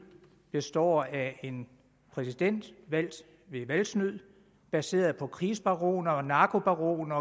består af en præsident valgt ved valgsnyd baseret på krigsbaroner narkobaroner